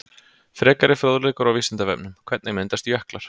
Frekari fróðleikur á Vísindavefnum: Hvernig myndast jöklar?